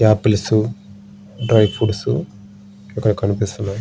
Apples dry fruits ఇక్కడ కనిపిస్తున్నాయి.